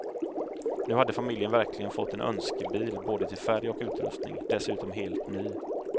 Nu hade familjen verkligen fått en önskebil både till färg och utrustning, dessutom helt ny.